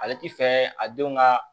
Ale ti fɛɛ a denw ka